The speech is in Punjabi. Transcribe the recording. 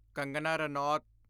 ਕੰਗਨਾ ਰਨੌਤ